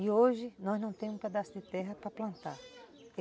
E hoje nós não temos um pedaço de terra para plantar.